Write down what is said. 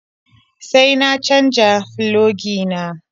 Sai na canja filogi na.